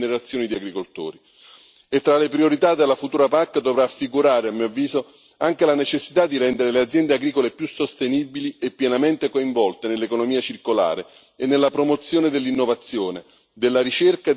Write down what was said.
E tra le priorità della futura PAC dovrà figurare, a mio avviso, anche la necessità di rendere le aziende agricole più sostenibili e pienamente coinvolte nell'economia circolare e nella promozione dell'innovazione, della ricerca e delle pratiche intelligenti.